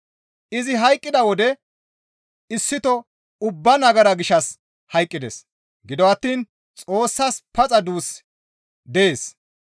Izi hayqqida wode issito ubbaa nagara gishshas hayqqides; gido attiin Xoossas paxa duus dees.